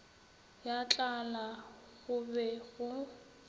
ya tlala go be go